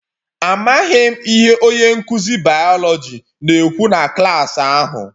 Amaghị m ihe onye nkụzi biology na-ekwu na klaasị ahụ